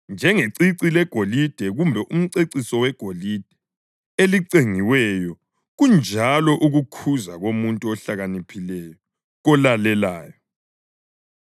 Njengecici legolide kumbe umceciso wegolide elicengiweyo kunjalo ukukhuza komuntu ohlakaniphileyo, kolalelayo.